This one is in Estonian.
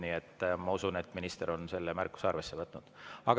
Nii et ma usun, et minister on selle märkuse arvesse võtnud.